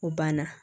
U banna